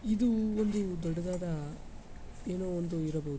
ಇದು ಒಂದು ದೊಡ್ಡದಾದ ಏನೋ ಒಂದು ಇರಬಹು--